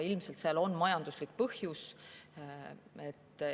Ilmselt on sellel majanduslik põhjus.